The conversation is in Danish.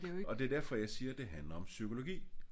Og det er derfor jeg siger det handler om psykologi